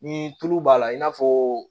Ni tulu b'a la i n'a fɔ